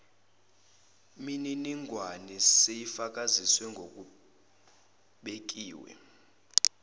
miningwane seyifakazisiwe ngokubekiwe